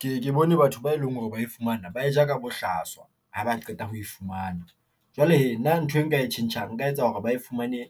Ke ke bone batho ba eleng hore ba e fumana, ba e ja ka bohlaswa, ha ba qeta ho e fumana. Jwale hee na nthwe nka e tjhentjhang nka etsa hore ba e fumane